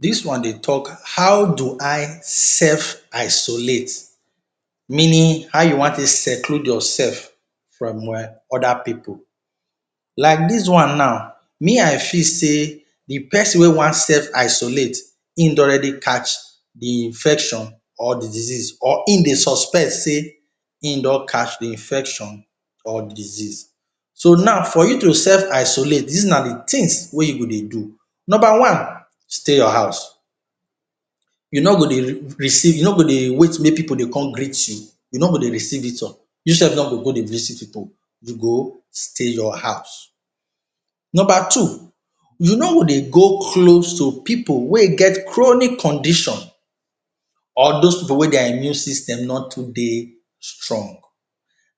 Dis one dey talk, how do I self isolate meaning how you want take seclude yourself from um other pipu, like dis one now me I fit sey de person wey want self isolate im don already catch de infection or de disease or im dey suspect sey im don catch de infection or disease. So for you to self isolate dis na de things wey you go dey do, number one stay your house, you nor go dey? receive you nor go dey wait make pipu come greet you, you nor go dey receive visitor, you self nor go visit pipu, you go stay your house. Number two you nor go dey go close to pipu wey get chronic condition or those pipu wey their immune system nor too dey strong,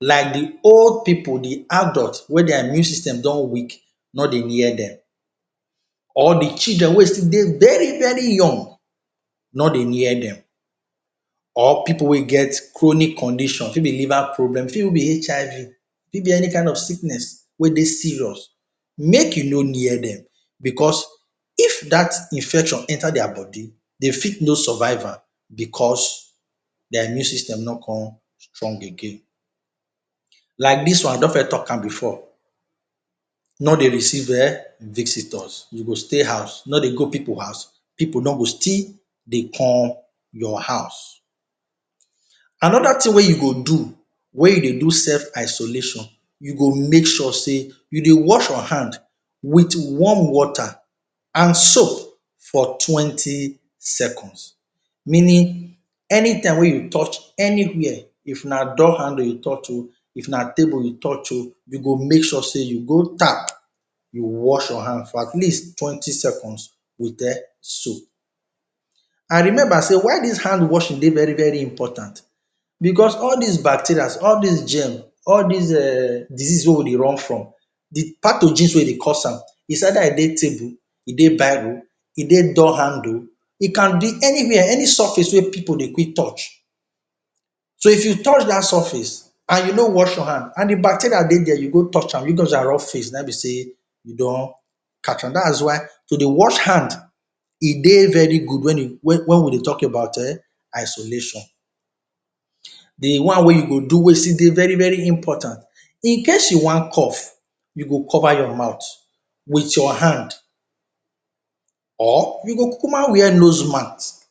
like de old pipu, de adult wey their immune system don weak nor dey near dem or de children wey still dey very very young, nor dey near dem or pipu wey get chronic condition e fit be liver problem, e fit even be HIV, e fit be any kind of sickness wey dey serious, make you nor near dem, because if dat infection enter their body de fit nor survive am because their immune system nor con strong again, like dis one I don first talk am before nor dey receive um visitors, you go stay house, nor dey go pipu house, pipu nor go still dey come your house. Another thing wey you go do wey you dey do self isolation, you go make sure sey you dey wash your hand with warm water and soap for twenty seconds, meaning anytime wey you touch anywhere if na door handle you touch um, if na table you touch um you go make sure sey you go tap you wash your hand for at least twenty seconds with um soap. I remember sey why dis hand washing dey very very important because all dis bacteria, all dis germ, all dis um disease wey we dey run from de part of dis wey dey cause am is either e dey table or biro, e dey door handle it can be anywhere, any surface wey pipu dey quick touch, so if you touch dat surface and you nor wash your hand and de bacteria dey there you go touch am, you just use am rub face na im be sey you don catch am. Dat is why to dey wash hand e dey very good wen you wen we dey talk about um isolation. De one wey you go do wey still dey very very important incase you want cough you go cover your mouth with your hand or you go kukuma wear nose mask,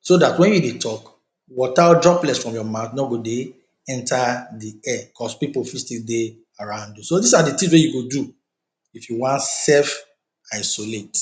so dat wen you dey talk water droplets from your mouth nor go dey enter de air, because pipu fit still dey around you. So dis na de things wey you go do if you want self isolate.